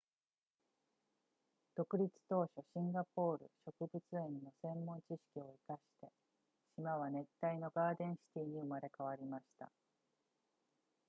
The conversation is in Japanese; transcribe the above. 独立当初シンガポール植物園の専門知識を活かして島は熱帯のガーデンシティに生まれ変わりました